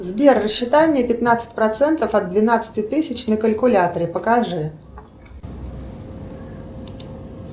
сбер рассчитай мне пятнадцать процентов от двенадцати тысяч на калькуляторе покажи